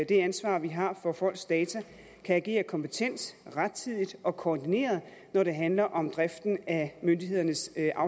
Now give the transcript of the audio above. det ansvar vi har for folks data kan agere kompetent rettidigt og koordineret når det handler om driften af myndighedernes